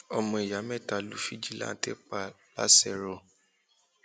ọmọ ìyá mẹta lu fìjìláńtẹ pa làṣẹrò um